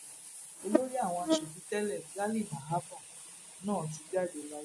olórí àwọn asòfin tẹlẹ ghali na abba náà ti jáde láyé